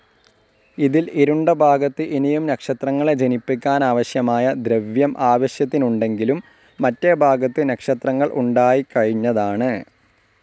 ഇതിൽ ഇരുണ്ട ഭാഗത്ത് ഇനിയും നക്ഷത്രങ്ങളെ ജനിപ്പിക്കാനാവശ്യമായ ദ്രവ്യം ആവശ്യത്തിനുണ്ടെങ്കിലും മറ്റേ ഭാഗത്ത് നക്ഷത്രങ്ങൾ ഉണ്ടായിക്കഴിഞ്ഞതാണ്.